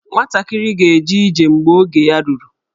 Nwatakịrị ga-eje ije mgbe oge ya ruru.